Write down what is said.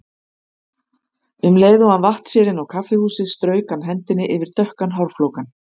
Um leið og hann vatt sér inn á kaffihúsið strauk hann hendinni yfir dökkan hárflókann.